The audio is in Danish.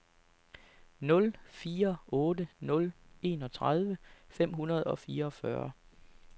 nul fire otte nul enogtredive fem hundrede og fireogfyrre